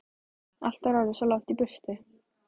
Allt var orðið svo langt í burtu.